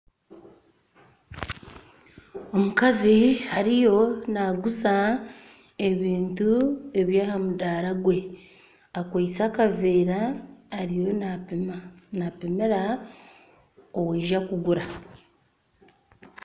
Omukazi ariyo naguza ebintu eby'ahamudara gwe akwitse akavera ariyo napumira owija kugura.